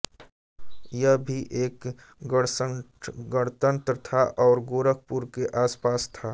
यह भी एक गणसंघगणतंत्र था और गोरखपुर के आसपास था